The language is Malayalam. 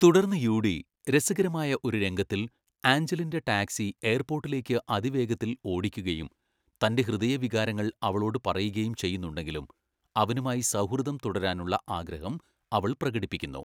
തുടർന്ന് യൂഡി, രസകരമായ ഒരു രംഗത്തിൽ ആഞ്ചലിൻ്റെ ടാക്സി എയർപോർട്ടിലേക്ക് അതിവേഗത്തിൽ ഓടിക്കുകയും തൻ്റെ ഹൃദയവികാരങ്ങൾ അവളോട് പറയുകയും ചെയ്യുന്നുണ്ടെങ്കിലും അവനുമായി സൗഹൃദം തുടരാനുള്ള ആഗ്രഹം അവൾ പ്രകടിപ്പിക്കുന്നു.